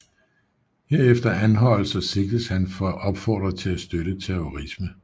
Herefter anholdes og sigtes han for at opfordre til at støtte terrorisme